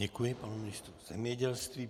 Děkuji panu ministru zemědělství.